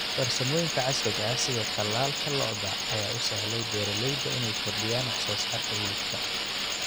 Farsamooyinka casriga ah sida tallaalka lo'da ayaa u sahlay beeralayda inay kordhiyaan wax soo saarka hilibka.